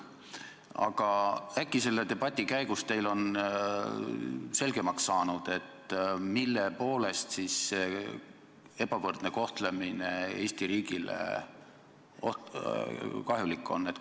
Aga äkki selle debati käigus on teil selgemaks saanud, mille poolest siis see ebavõrdne kohtlemine Eesti riigile kahjulik on?